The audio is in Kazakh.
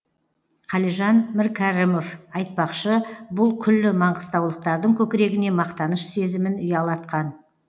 қалижан міркәрімов айтпақшы бұл күллі маңғыстаулықтардың көкірегіне мақтаныш сезімін ұялатқан